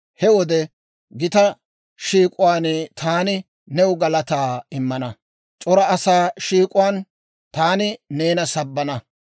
He wode gita shiik'uwaan taani new galataa immana; c'ora asaa shiik'uwaan taani neena sabbana.